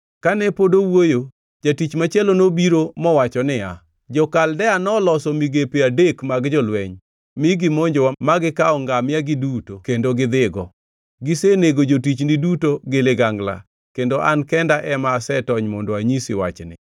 Kane pod owuoyo, jatich machielo nobiro mowacho niya, “Jo-Kaldea noloso migepe adek mag jolweny mi gimonjowa ma gikawo ngamia-gi duto kendo gidhigo. Gisenego jotichni duto gi ligangla, kendo an kenda ema asetony mondo anyisi wachni!”